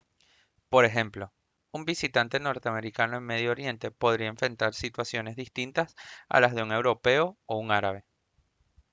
por ejemplo un visitante norteamericano en medio oriente podría enfrentar situaciones distintas a las de un europeo o un árabe